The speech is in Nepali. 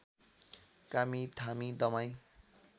कामी थामी दमाईं